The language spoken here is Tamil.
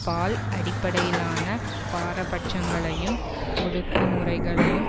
பால் அடிப்படையிலான பாரபட்சங்களையும் ஒடுக்குமுறைகளையும்